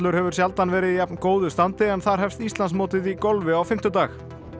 hefur sjaldan verið í jafn góðu standi en þar hefst Íslandsmótið í golfi á fimmtudag